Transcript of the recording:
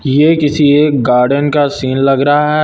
ये किसी एक गार्डन का सीन लग रहा है।